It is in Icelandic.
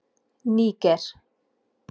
Níger